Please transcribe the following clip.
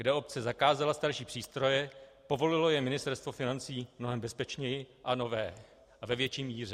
Kde obec zakázala starší přístroje, povolilo je Ministerstvo financí mnohem bezpečněji a nové a ve větší míře.